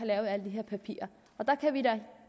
lavet alle de her papirer